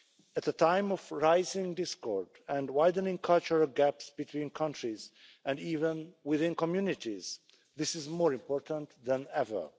At a time of rising discord and widening cultural gaps between countries and even within communities, this is more important than ever.